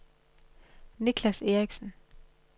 Nicklas Erichsen